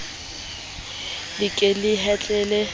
le ke le atlehe v